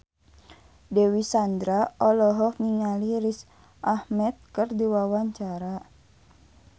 Dewi Sandra olohok ningali Riz Ahmed keur diwawancara